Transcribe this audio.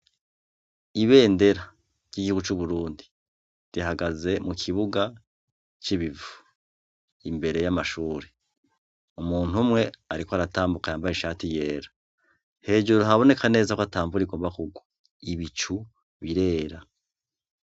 Ibendera ,ry’igihugu c’uburundi rihagaze mukibuga c’ibivu imbere y’amashure. Umunt’umwe arikw’aratambuka yambaye ishati yera. Hejuru haboneka neza kw’atamvura igomba kugwa. Ibicu birera.